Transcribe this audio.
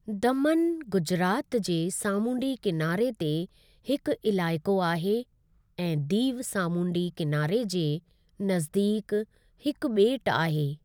दमन गुजरात जे सामूंडी किनारे ते हिकु इलाइक़ो आहे ऐं दीव सामूंडी किनारे जे नज़दीकु हिकु बे॒टु आहे।